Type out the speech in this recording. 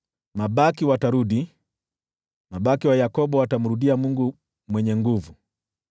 Mabaki watarudi, mabaki wa Yakobo watamrudia Mungu Mwenye Nguvu.